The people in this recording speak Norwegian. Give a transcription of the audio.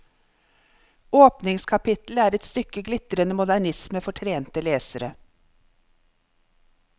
Åpningskapitlet er et stykke glitrende modernisme for trente lesere.